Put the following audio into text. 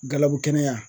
Galabu kɛnɛya